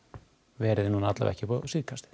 verið upp á síðkastið